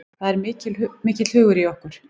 Það er mikill hugur í okkur